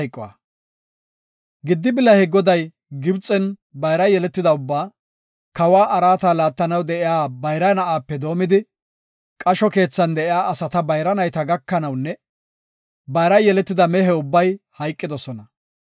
Giddi bilahe Goday Gibxen bayra yeletida ubbaa, kawa araata laattanaw de7iya bayra na7aape doomidi, qasho keethan de7iya asata bayra nayta gakanawunne bayra yeletida mehe ubbay hayqidosona.